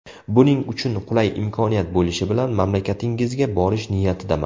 Buning uchun qulay imkoniyat bo‘lishi bilan mamlakatingizga borish niyatidaman.